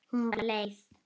Hún var leið.